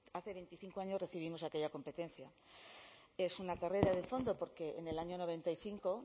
hace veinticinco años recibimos aquella competencia es una carrera de fondo porque en el año noventa y cinco